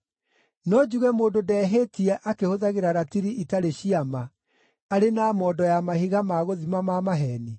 No njuge mũndũ ndehĩtie akĩhũthagĩra ratiri itarĩ cia ma, arĩ na mondo ya mahiga ma gũthima ma maheeni?